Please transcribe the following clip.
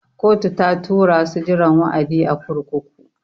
Kotu ta tura su jiran wa'adi a kurkuku.